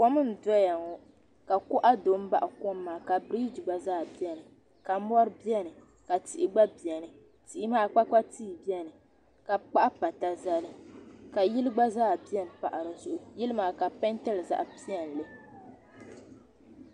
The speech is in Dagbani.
kom n doya ŋɔ ka koɣ' do n baɣ' kom maa biriji. gba zaa bɛni ka mori bɛni ka tihi gba bɛni tihi maa kpapkpa tihi bɛni ka kpahi pata zali ka yili gba zaa bɛni. pahi yili maa ka be piɛntili zaɣ' piɛlli